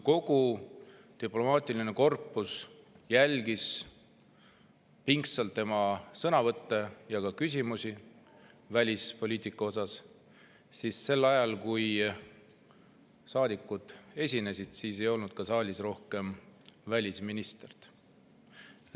Kogu diplomaatiline korpus jälgis pingsalt tema sõnavõttu ja küsimusi välispoliitika kohta, aga sel ajal, kui saadikud esinesid, ei olnud välisminister saalis.